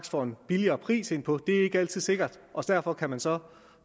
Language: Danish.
får en billigere pris på det er ikke altid sikkert og derfor kan man så